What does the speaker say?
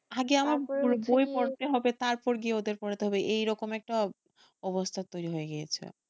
আগে আমার তারপর গিয়ে ওদের পড়াতে হবে এইরকম অবস্থা হয়ে গিয়েছে,